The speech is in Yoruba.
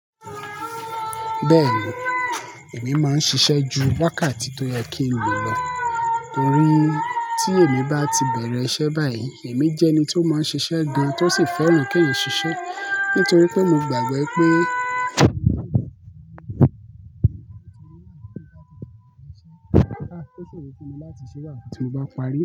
Bẹ́ẹ̀ni, èmi máa ń ṣiṣẹ́ ju wákàtí tó yẹ kí n lọ, torí tí èmi bá ti bẹ̀rẹ̀ iṣẹ́ báyìí, èmi jẹ́ ẹni tó máa ń ṣiṣẹ́ gan-an tó sì fẹ́ràn kí eeyan o ṣiṣẹ́, nítorí pé mo gbàgbọ́ pé kó ṣe ìwúkọ̀ láti ṣíṣe wá kí n ba parí.